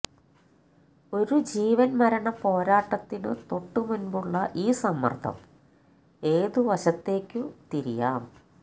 ഒരു ജീവൻമരണ പോരാട്ടത്തിനു തൊട്ടുമുൻപുള്ള ഈ സമ്മർദം ഏതു വശത്തേക്കു തിരിയാം